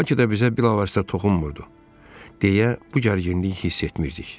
Bəlkə də bizə bilavasitə toxunmurdu, deyə bu gərginliyi hiss etmirdik.